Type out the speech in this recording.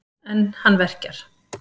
En hann verkjar.